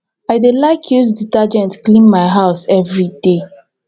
i dey like to use detergent clean my house everyday